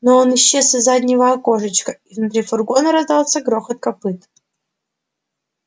но он исчез из заднего окошечка и внутри фургона раздался грохот копыт